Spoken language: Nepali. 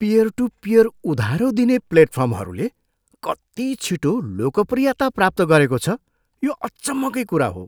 पियर टू पियर उधारो दिने प्लेटफर्महरूले कति छिटो लोकप्रियता प्राप्त गरेको छ, यो अचम्मकै कुरा हो।